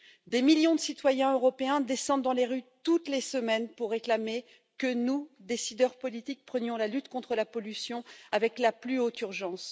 Des millions de citoyens européens descendent dans la rue toutes les semaines pour réclamer que nous, décideurs politiques, agissions contre la pollution avec la plus haute urgence.